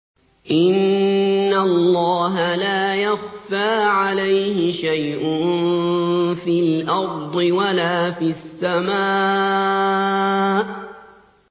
إِنَّ اللَّهَ لَا يَخْفَىٰ عَلَيْهِ شَيْءٌ فِي الْأَرْضِ وَلَا فِي السَّمَاءِ